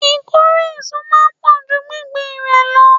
Ìkórè èso máa ń pò ju gbingbin rẹ lọ.